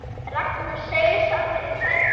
Ragnar seig saman í sætinu.